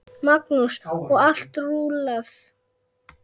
Magnús: Og allt rúllað?